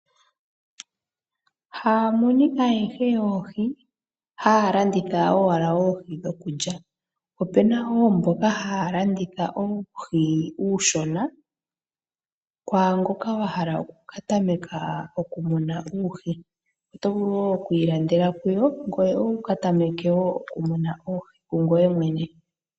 Haamunu ayehe yoohi haya landitha owala oohi dhokulya, opena woo mboka haya landitha oohi oonshona kwaangoka wahala okukatameka okumuna uuhi otovulu woo oku ilandela kuyo ngoye wu katameke woo okumuna oohi kungoye mwene.